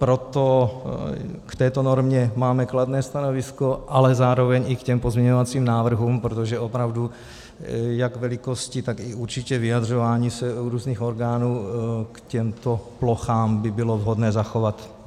Proto k této normě máme kladné stanovisko, ale zároveň i k těm pozměňovacím návrhům, protože opravdu jak velikosti, tak i určitě vyjadřování se různých orgánů k těmto plochám by bylo vhodné zachovat.